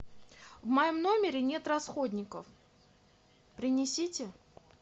в моем номере нет расходников принесите